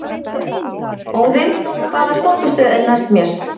Óðinn, hvaða stoppistöð er næst mér?